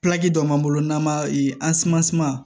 dɔ b'an bolo n'an b'a